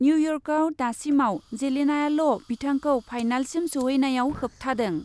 निउयर्कआव दासिमाव जेलेनाआल' बिथांखौ फाइनालसिम सौहैनायाव होबथादों ।